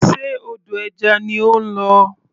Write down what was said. Ṣe odò ẹja ni ó ń lọ?